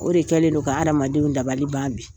O de kɛlen don ka adamadenw dabali ban bi .